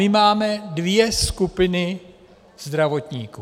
My máme dvě skupiny zdravotníků.